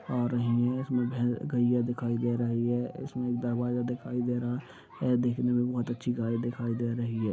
और ये इसमे भे गईया दिखाई दे रही है इसमें दरवाजा दिखाई दे रहा है देखने में बहुत अच्छी गाय दिखाई दे रही है।